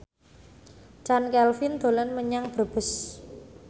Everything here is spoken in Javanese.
Chand Kelvin dolan menyang Brebes